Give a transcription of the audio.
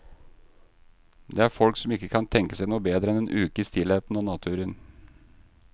Det er folk som ikke kan tenke seg noe bedre enn en uke i stillheten og naturen.